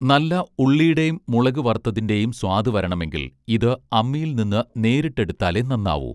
നല്ല ഉള്ളീടെം മുളക് വറുത്തതിന്റേം സ്വാദ് വരണമെങ്കിൽ ഇത് അമ്മിയിൽ നിന്ന് നേരിട്ട് എടുത്താലെ നന്നാവൂ